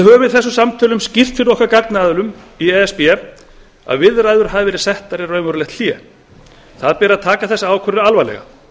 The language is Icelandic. höfum í þessum samtölum skýrt fyrir gagnaðilum okkar í e s b að viðræður hafi verið settar í raunverulegt hlé það beri að taka þessa ákvörðun alvarlega